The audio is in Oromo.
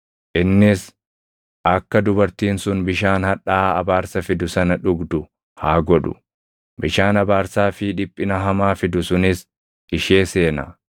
Innis akka dubartiin sun bishaan hadhaaʼaa abaarsa fidu sana dhugdu haa godhu; bishaan abaarsaa fi dhiphina hamaa fidu sunis ishee seena.